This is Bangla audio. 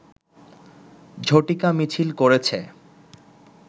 ঝটিকা মিছিল করেছে